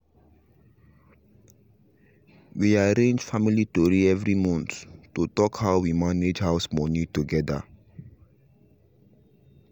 we arrange family tori every month to talk how we mange house money together